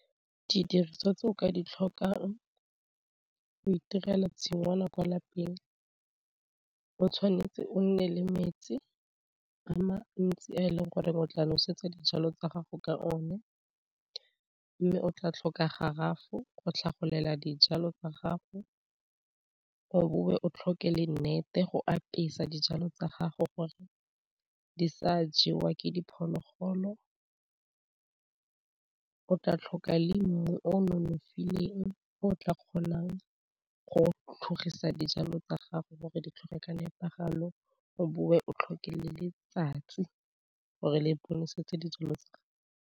Di diriswa tse o ka di tlhokang go itirela tshingwana kwa lapeng o tshwanetse o nne le metsi a ma ntsi a e leng gore o tla nosetsa dijalo tsa gago ka o ne, mme o tla tlhoka garafo go tlhagolela dijalo tsa gago, o bowe o tlhoke le nnete go apesa dijalo tsa gago gore di sa jewa ke diphologolo, o tla tlhoka le mmu o nonofileng o tla kgonang go tlhogisa dijalo tsa gago gore di tlhoge ka nepagalo, o bowe o tlhoke le letsatsi gore le bonesetse dijalo tsa gago.